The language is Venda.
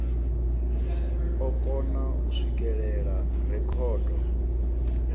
o kona u swikelela rekhodo